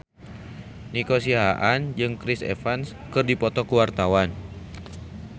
Nico Siahaan jeung Chris Evans keur dipoto ku wartawan